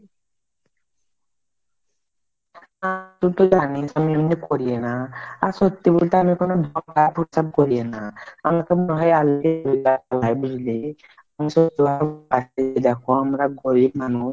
তুই তো জানিস আমি এমনি করিনা আর সত্যি বলতে আমি কোনো করি না আমাকে নাহয় হয় বুঝলি দেখো আমরা গরিব মানুষ